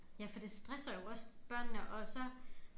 Ja for det stresser jo også børnene og så